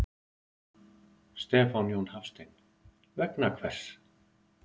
Stefán Jón Hafstein: Vegna hvers?